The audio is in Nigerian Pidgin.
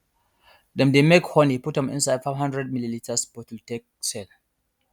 dem dey make honey put am inside 500ml bottle take sell